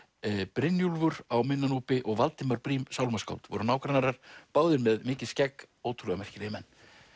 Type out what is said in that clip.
Brynjólfur á minna Núpi og Valdimar Briem sálmaskáld voru nágrannar báðir með mikið skegg ótrúlega merkilegir menn